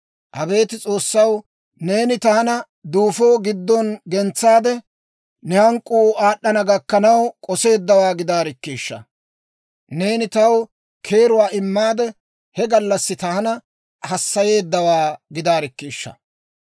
«Abeet S'oossaw, neeni taana duufo giddon gentsaade, ne hank'k'uu aad'd'ana gakkanaw k'oseeddawaa gidaarikkiishsha! Neeni taw keeruwaa immaade, he gallassi taana hassayeeddawaa gidaarikkiishsha!